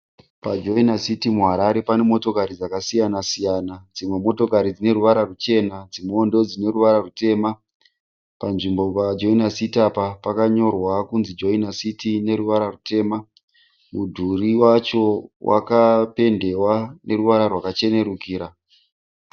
Pa "Joiner City" muHarare pane motokari dzakasiyana- siyana. Dzimwe motokari dzine ruvara ruchena dzimwewo ndodzine ruvara rutema. Panzvimbo pa " Joiner City" apa pakanyorwa kunzi "Joiner City" neruvara rutema. Mudhuri wacho wakapendiwa noruvara rwakachenerukira.